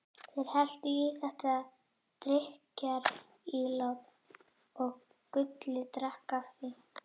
Þeir helltu í þetta drykkjarílát og Gulli drakk af því.